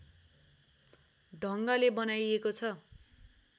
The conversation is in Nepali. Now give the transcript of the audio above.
ढङ्गले बनाइएको छ